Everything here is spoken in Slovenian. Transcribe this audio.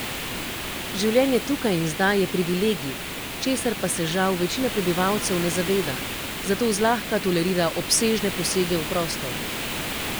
Življenje tukaj in zdaj je privilegij, česar pa se žal večina prebivalcev ne zaveda, zato zlahka tolerira obsežne posege v prostor.